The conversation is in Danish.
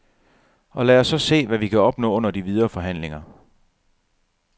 Og lad os så se, hvad vi kan opnå under de videre forhandlinger.